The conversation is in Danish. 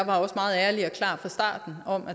om